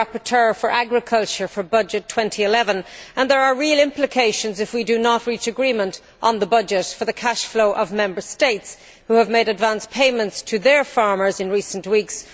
I am the rapporteur for agriculture for the 2011 Budget, and there will be real implications if we do not reach agreement on the budget for the cash flow of Member States who have made advance payments to their farmers in recent weeks.